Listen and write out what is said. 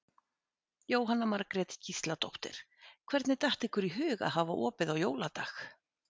Jóhanna Margrét Gísladóttir: Hvernig datt ykkur í hug að hafa opið á jóladag?